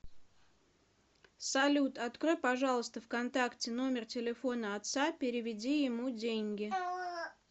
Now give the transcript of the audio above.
салют открой пожалуйста в контакте номер телефона отца переведи ему деньги